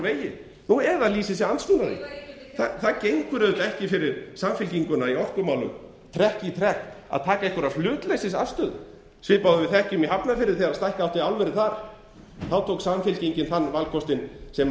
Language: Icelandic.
vegi nú eða lýsi sig andsnúna því ég var það gengur auðvitað ekki fyrir samfylkinguna í orkumálum trekk í trekk að taka einhverja hlutleysisafstöðu svipað og við þekkjum úr hafnarfirði þegar stækka átti álverið þar þá tók samfylkingin þann valkostinn sem